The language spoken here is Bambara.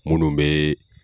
Munnu bɛ